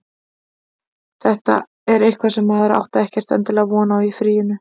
Þetta er eitthvað sem maður átti ekkert endilega von á í fríinu.